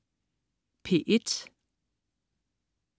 P1: